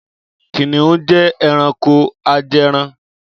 Kìnnìún jẹ́ ẹranko ajẹran.